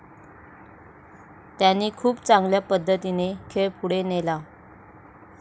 त्यांनी खूप चांगल्या पद्धतीने खेळ पुढे नेला.